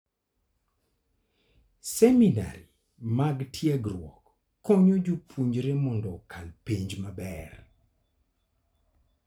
Seminari mag tiegruok konyo jopuonjre mondo okal penj maber.